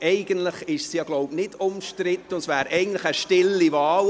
Eigentlich ist es ja nicht umstritten, so glaube ich, und es wäre eigentlich eine stille Wahl.